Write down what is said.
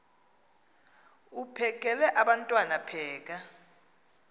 uphekel abantwana pheka